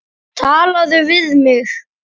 Talaðu við mig!